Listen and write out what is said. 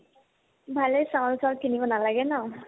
ভালে চাউল-তাউল কিনিব নালাগে ন